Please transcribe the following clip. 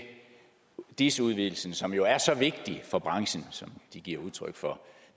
dis udvidelsen som jo er så vigtig for branchen som den giver udtryk for